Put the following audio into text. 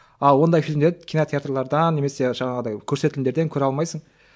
ал ондай фильмдерді кинотеатрлерден немесе жаңағындай көрсетілімдерден көре алмайсың